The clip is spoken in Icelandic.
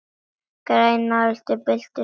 Grænar öldur byltust um hugann.